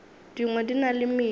dingwe di na le medu